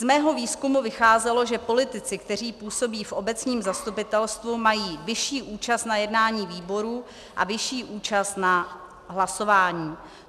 Z mého výzkumu vycházelo, že politici, kteří působí v obecním zastupitelstvu, mají vyšší účast na jednání výborů a vyšší účast na hlasování.